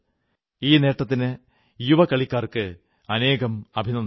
ഈ നേട്ടത്തിന് യുവ കളിക്കാൾക്ക് അനേകം അഭിനന്ദനങ്ങൾ